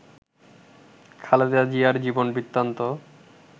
খালেদা জিয়ার জীবন বৃত্তান্ত